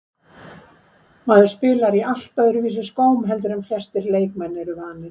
Maður spilar í allt öðruvísi skóm heldur en flestir leikmenn eru vanir.